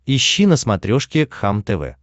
ищи на смотрешке кхлм тв